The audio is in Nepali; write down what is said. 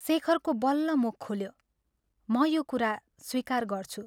शेखरको बल्ल मुख खुल्यो " म यो कुरा स्वीकार गर्छु।